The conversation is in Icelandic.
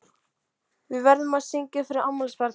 Við verðum að syngja fyrir afmælisbarnið.